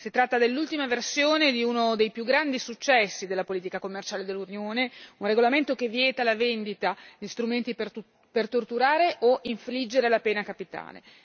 Si tratta dell'ultima versione di uno dei più grandi successi della politica commerciale dell'Unione, un regolamento che vieta la vendita di strumenti per torturare o infliggere la pena capitale.